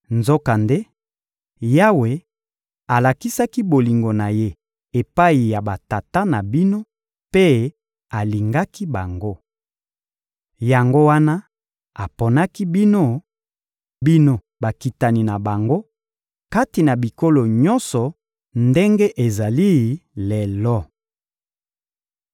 Nzokande, Yawe alakisaki bolingo na Ye epai ya batata na bino mpe alingaki bango. Yango wana aponaki bino, bino bakitani na bango, kati na bikolo nyonso ndenge ezali lelo.